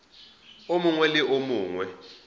o mongwe le o mongwe